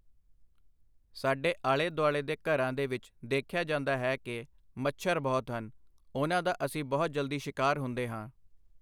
ਸਾਡੇ ਆਲ਼ੇ ਦੁਆਲ਼ੇ ਦੇ ਘਰਾਂ ਦੇ ਵਿੱਚ ਦੇਖਿਆ ਜਾਂਦਾ ਹੈ ਕਿ ਮੱਛਰ ਬਹੁਤ ਹਨ, ਉਹਨਾਂ ਦਾ ਅਸੀਂ ਬਹੁਤ ਜਲਦੀ ਸਿਕਾਰ ਹੁੰਦੇ ਹਾਂ